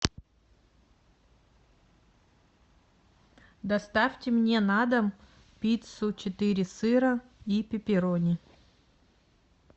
доставьте мне на дом пиццу четыре сыра и пепперони